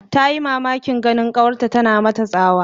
Tayi mamakin ganin kawarta tana mata tsawa